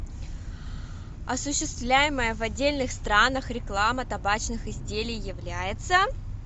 осуществляемая в отдельных странах реклама табачных изделий является